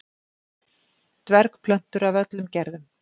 Dvergplöntur af öllum gerðum.